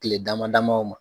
Tile dama dama o ma